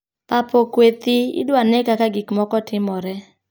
Pap okwe thii, idwa ne kaka gik moko timore.